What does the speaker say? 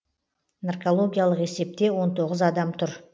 наркологиялық есепте он тоғыз адам тұр